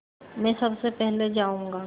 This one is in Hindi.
मैं सबसे पहले जाऊँगा